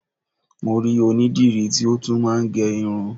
Mo rí onídìrí tí ó tún máa ń gẹ irun